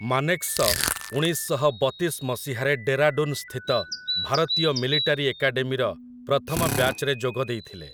ମାନେକ୍‌ଶ ଉଣେଇଶ ଶହ ବତିଶ ମସିହାରେ ଡେରାଡୁନ୍ ସ୍ଥିତ ଭାରତୀୟ ମିଲିଟାରୀ ଏକାଡେମୀର ପ୍ରଥମ ବ୍ୟାଚ୍‌ରେ ଯୋଗ ଦେଇଥିଲେ ।